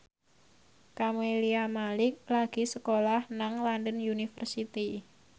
Camelia Malik lagi sekolah nang London University